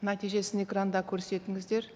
нәтижесін экранда көрсетіңіздер